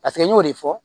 Paseke n y'o de fɔ